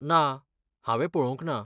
ना, हांवें पळोवंक ना.